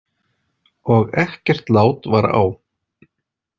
Og ekkert lát var á.